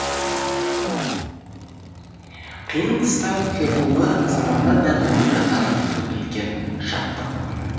қиын қыстау қиқулы заманда да домбырадан төгілген шаттық үні